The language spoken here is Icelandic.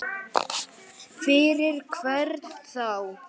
Fyrir hvern þá?